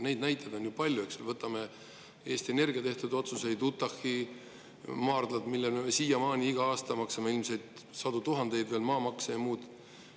Neid näiteid on palju, eks, võtame Eesti Energia tehtud otsused, Utah' maardlad, mille pärast me siiamaani iga aasta maksame ilmselt sadu tuhandeid, veel maamaks ja muud.